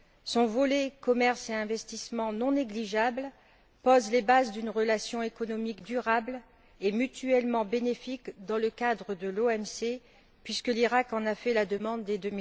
Son volet commerce et investissement non négligeable pose les bases d'une relation économique durable et mutuellement bénéfique dans le cadre de l'OMC, puisque l'Iraq en a fait la demande dès